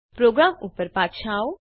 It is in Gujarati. પ્રોગ્રામ ઉપર પાછા જાઓ